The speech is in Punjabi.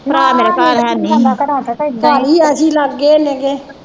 ਭਰਾ ਮੇਰਾ ਘਰ ਹੈਨੀ ਹੀ